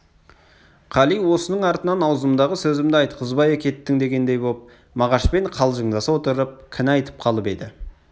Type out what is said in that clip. қали осының артынан аузымдағы сөзімді айтқызбай әкеттің дегендей боп мағашпен қалжыңдаса отырып кінә айтып қалып еді